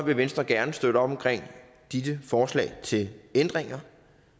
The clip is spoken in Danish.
vil venstre gerne støtte op om disse forslag til ændringer